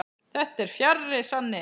Þetta er fjarri sanni.